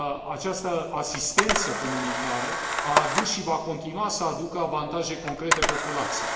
Această asistență comunitară a adus și va continua să aducă avantaje concrete populației.